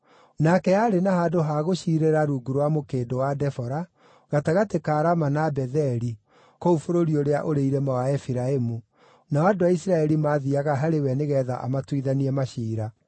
Nake aarĩ na handũ ha gũciirĩra rungu rwa Mũkĩndũ wa Debora, gatagatĩ ka Rama na Betheli kũu bũrũri ũrĩa ũrĩ irĩma wa Efiraimu, nao andũ a Isiraeli maathiiaga harĩ we nĩgeetha amatuithanie maciira.